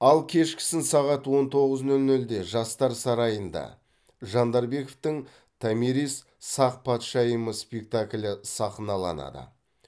ал кешкісін сағат он тоғыз нөл нөлде жастар сарайында жандарбековтің томирис сақ патшайымы спектаклі сахналанады